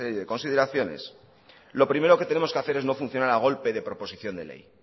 de consideraciones lo primero que tenemos que hacer es no funcionar a golpe de proposición de ley